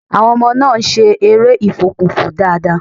Àwọn ọmọ náà ń́ ṣe eré ìfokùnfò dáadáa.